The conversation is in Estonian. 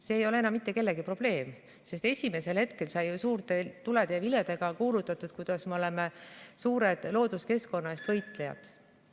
See ei ole enam mitte kellegi probleem, sest esimesel hetkel sai ju suurte tulede ja viledega kuulutatud, kuidas me oleme suured looduskeskkonna eest võitlejad.